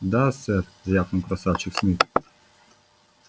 да сэр рявкнул красавчик смит